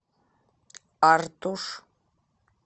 артуш